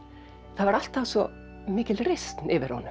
það var alltaf svo mikil reisn yfir honum